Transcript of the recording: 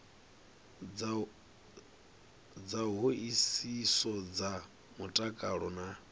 dza hoisiso dza mutakalo na